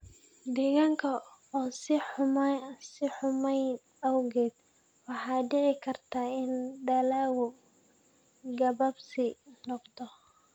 Deegaanka oo sii xumaanaya awgeed, waxa dhici karta in dalaggu gabaabsi noqdo.